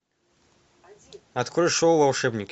открой шоу волшебники